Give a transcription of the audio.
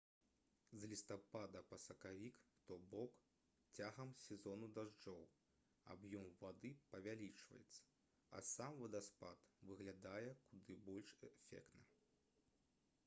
з лістапада па сакавік то бок цягам сезону дажджоў аб'ём вады павялічваецца а сам вадаспад выглядае куды больш эфектна